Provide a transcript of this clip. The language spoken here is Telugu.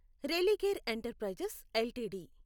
Religare enterprises LTD